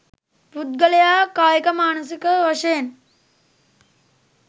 පුද්ගලයා කායිකමානසික වශයෙන්